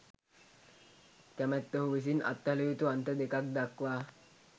කැමැත්තහු විසින් අත්හළ යුතු අන්ත දෙකක් දක්වා